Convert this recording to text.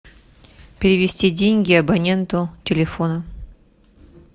перевести деньги абоненту телефона